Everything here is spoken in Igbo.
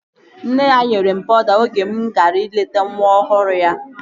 Nne ya nyere m pawuda oge mụ gara ileta nwa ọhụrụ ya